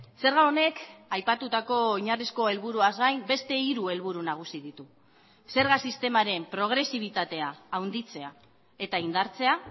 zerga honek aipatutako oinarrizko helburuaz gain beste hiru helburu nagusi ditu zerga sistemaren progresibitatea handitzea eta indartzea